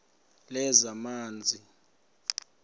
lezamanzi